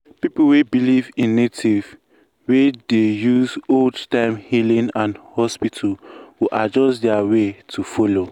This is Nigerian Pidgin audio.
people wey believe in native way dey use old-time healing and hospital go adjust their way to follow.